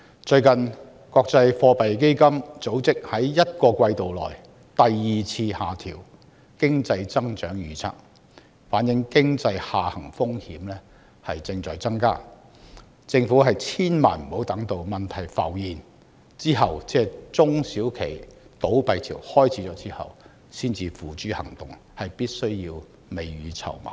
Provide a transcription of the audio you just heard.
最近，國際貨幣基金組織在一個季度內第二次下調經濟增長預測，反映經濟下行風險正在增加，政府千萬不要等到問題浮現，即中小企倒閉潮開始，才採取行動，必須未雨綢繆。